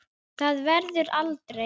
Það verður aldrei.